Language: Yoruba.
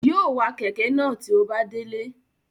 Yóò wa kẹ̀kẹ́ náà tí ó bá délé